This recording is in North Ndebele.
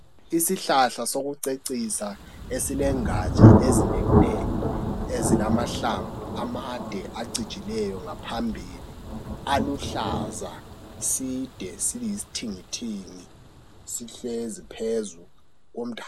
Isihlahla sokucecisa eSilengatsha ezinengi nengi ezilamahlamvu amade acijileyo ngaphambili aluhlaza side siyisithengethenge sihlezi siphezulu